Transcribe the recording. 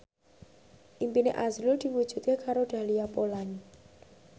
impine azrul diwujudke karo Dahlia Poland